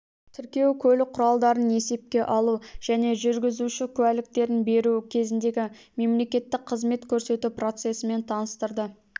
тіркеу көлік құралдарын есепке алу және жүргізуші куәліктерін беру кезіндегі мемлекеттік қызмет көрсету процесімен таныстырды